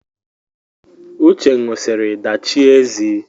Uche ṅụrụsiri dachie ezi